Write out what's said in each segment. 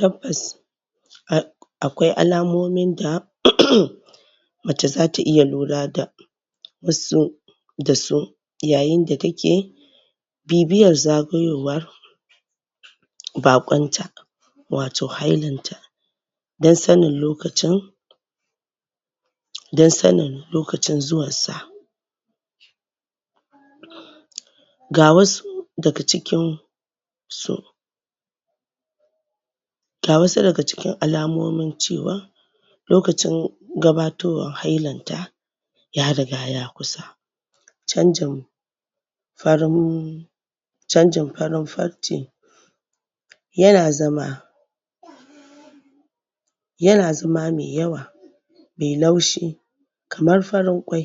tabbas a akwai alamomin da mace zata iya lura da wasu da su yayin da take bibiyar zagayowa baƙonta wato hailan ta dan sanin lokacin dan sanin lokacin zuwansa ga wasu daga cikin su Ga wasu daga cikin alamomin cewa lokacin gabatowan hailanta ya riga ya kusa canjin farin canjin farin farce yana zama yana zama mai yawa mai laushi kamar farin kwai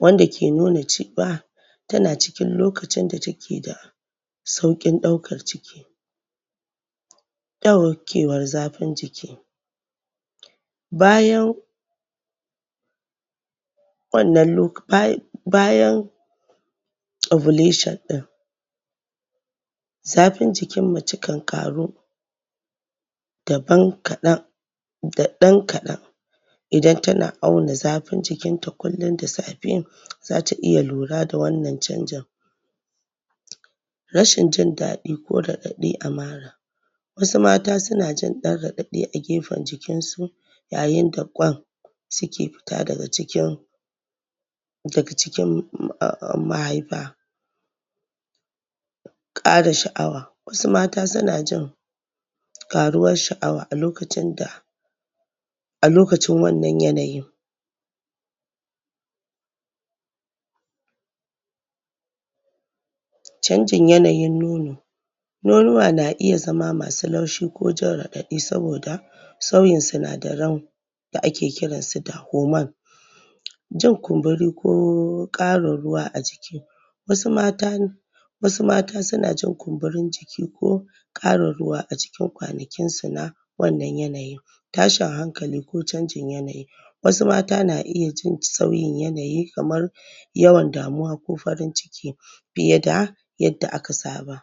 wanda ke nuna cewa tana cikin lokacin da takeda saukin daukar ciki daukewar zafin jiki bayan ovulation din zafin jikin mace kan ƙaru Da ɗan kaɗan Idan tana auna zafin jikinta kullum da safe zata iya lura da wannan canjin rashin jindaɗi ko raɗaɗi a mara wasu mata suna jin dan raɗaɗi a gefen jikinsu yayidan ƙwan suke fita daga jikin daga jikin mahaifa, kara shaʼawa wasu mata sunajin ƙaruwan shaʼawa a lokacin a lokacin wannan yanayin, canjin yanayin nono, nonuwa na iya zama masu laushi ko jin raɗaɗi saboda sauyin sunadaran da ake kiransu da hormone jin kumburi ko ƙarin ruwa a jiki wasu mata na Wasu mata sunajin kumburin jiki ko ƙarin ruwa a jikin kwanakinsu a wannan yanayin tashin hankali ko canjin yanayi wasu mata na iya jin sauyin yanayi kamar yawan damuwa ko farin ciki fiyeda yanda aka saba